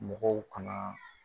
Mɔgɔw kanaa